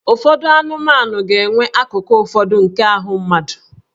Ụfọdụ anụmanụ ga-enwe akụkụ ụfọdụ nke ahụ mmadụ